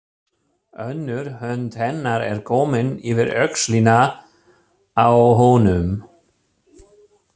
Önnur hönd hennar er komin yfir öxlina á honum.